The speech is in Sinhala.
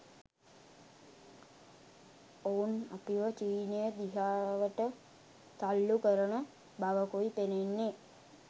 ඔවුන් අපිව චීනය දිහාවට තල්ලු කරන බවකුයි පෙනෙන්නේ